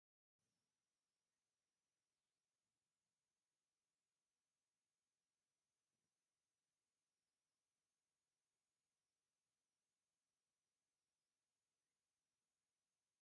ናይ ወታደራዊ ቲዮዮታ መኪና ወተሃደራት ምስ ዕጥቖም መሊኦሙዋ ኣለዉ ክልተ ወተሃደር ኣብ ጎድና ደው ኢሎም ኣለዉ ፡ እንታይ ዘጋጠመ ይመስል ?